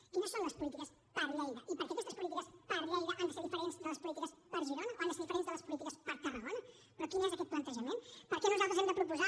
quines són les polítiques per a lleida i per què aquestes polítiques per a lleida han de ser diferents de les polítiques per a girona o han de ser diferents de les polítiques per a tarragona però quin és aquest plantejament per què nosaltres hem de proposar